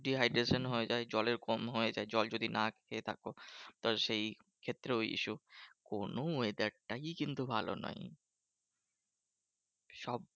Dehydration হয়ে যায় জলের কম হয় জল যদি না খেয়ে থাকো। তা সেই ক্ষেত্রেও ওই issue. কোনো weather টাই কিন্তু ভালো নয়। সব